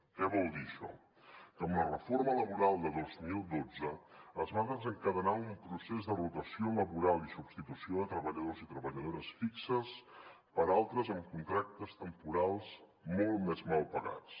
què vol dir això que amb la reforma laboral de dos mil dotze es va desencadenar un procés de rotació laboral i substitució de treballadors i treballadores fixes per altres amb contractes temporals molt més mal pagats